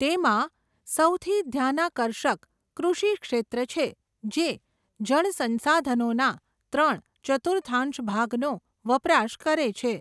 તેમાં, સૌથી ધ્યાનાકર્ષક, કૃષિ ક્ષેત્ર છે, જે, જળસંસાધનોના, ત્રણ, ચતુથાઁશ ભાગનો, વપરાશ કરે છે.